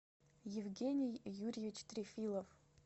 евгений юрьевич трефилов